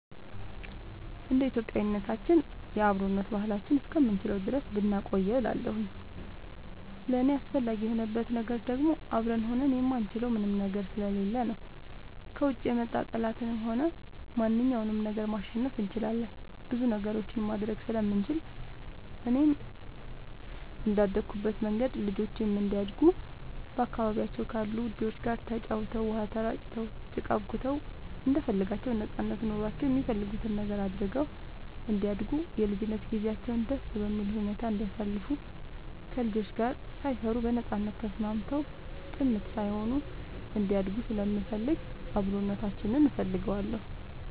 እንደ ኢትዮጵያዊነታችን የአብሮነት ባህላችንን እስከምንችለው ድረስ ብናቆየው እላለሁኝ። ለእኔ አስፈላጊ የሆንበት ነገር ደግሞ አብረን ሆነን የማንችለው ምንም ነገር ስለሌለ ነው። ከውጭ የመጣ ጠላትንም ሆነ ማንኛውንም ነገር ማሸነፍ እንችላለን ብዙ ነገሮችንም ማድረግ ስለምንችል፣ እኔም እንደአደኩበት መንገድ ልጆቼም እንዲያድጉ በአካባቢያቸው ካሉ ልጆች ጋር ተጫውተው, ውሃ ተራጭተው, ጭቃ አቡክተው እንደፈለጋቸው ነጻነት ኖሯቸው የሚፈልጉትን ነገር አድርገው እንዲያድጉ የልጅነት ጊዜያቸውን ደስ በሚል ሁኔታ እንዲያሳልፉ ከልጆች ጋር ሳይፈሩ በነጻነት ተስማምተው ጭምት ሳይሆኑ እንዲያድጉ ስለምፈልግ አብሮነታችንን እፈልገዋለሁ።